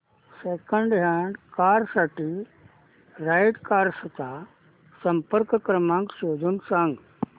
second hand car साठी right cars चा संपर्क क्रमांक शोधून सांग